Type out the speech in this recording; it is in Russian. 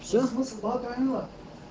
сейчас смысла говорила